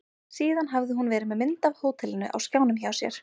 Síðan hafði hún verið með mynd af hótelinu á skjánum hjá sér.